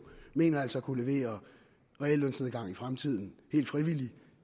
mener altså at kunne levere reallønsnedgang i fremtiden helt frivilligt